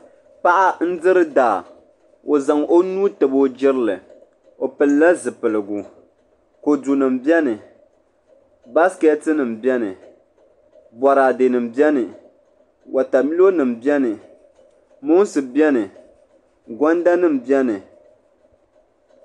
paɣa n diri daa o zaŋ o nuu tabi o jirili o pilila zipiligu kodu nima biɛni baasiketi nima biɛni boraade nima biɛni watamilo nima biɛni moonsi biɛni gonda nima biɛni.